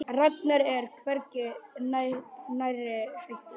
Ragnar er hvergi nærri hættur.